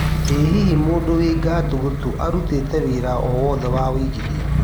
ĩ hihi mũndũ wĩ ngatũ gatũ nĩ arutite wĩra o wothe wa wĩigĩthĩa